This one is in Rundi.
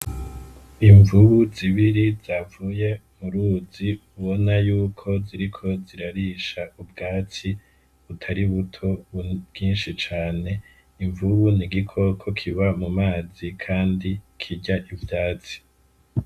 Imvubu zibiri zavuye mu ruzi ubona yuko ziriko zirarisha ubwatsi butari buto bwinshi cane, imvubu ni igikoko kiba mu mazi kandi kirya ivyatsi.